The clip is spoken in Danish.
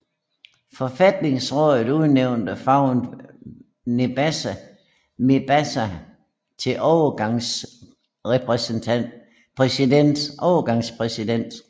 Forfatningsrådet udnævnte Fouad Mebazaa til overgangspræsident